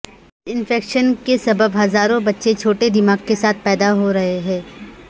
اس infection کے کے سبب ہزاروں بچے چھوٹے دماغ کے ساتھ پیدا ہو رہے ہیں